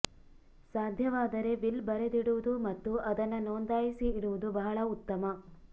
ಸಾಧ್ಯವಾದರೆ ವಿಲ್ ಬರೆದಿಡುವುದು ಮತ್ತು ಅದನ್ನ ನೊಂದಾಯಿಸಿ ಇಡುವುದು ಬಹಳ ಉತ್ತಮ